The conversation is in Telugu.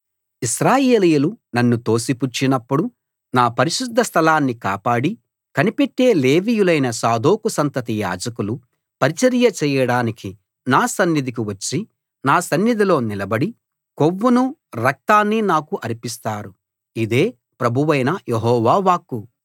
ఇశ్రాయేలీయులు నన్ను తోసిపుచ్చినపుడు నా పరిశుద్ధ స్థలాన్ని కాపాడి కనిపెట్టే లేవీయులైన సాదోకు సంతతి యాజకులు పరిచర్య చేయడానికి నా సన్నిధికి వచ్చి నా సన్నిధిలో నిలబడి కొవ్వును రక్తాన్ని నాకు అర్పిస్తారు ఇదే ప్రభువైన యెహోవా వాక్కు